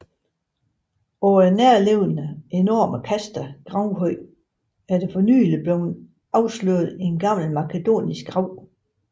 På den nærliggende enorme Kasta gravhøj er der for nylig blevet afsløret en gammel makedonsk grav